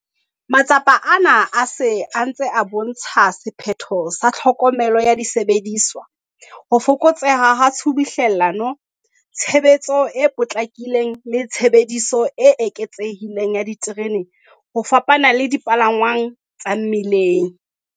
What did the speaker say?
Matsapa ana a se a ntse a bo ntsha sephetho sa tlhokomelo ya disebediswa, ho fokotseha ha tshubuhlellano, tshebetso e potlakileng le tshebediso e eketsehileng ya diterene ho fapana le dipalangwang tsa mmileng.